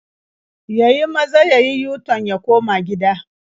Ya yi maza ya yi yu-tan ya koma gida.